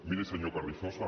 miri senyor carrizosa